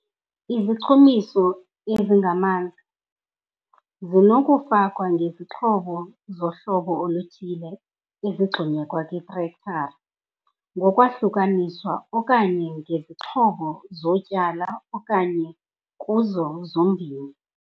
Izichumiso ezingamanzi zinokufakwa ngezixhobo zohlobo oluthile ezigxunyekwa kwiitrektara ngokwahlukaniswa okanye ngezixhobo zokutyala okanye kuzo zombini.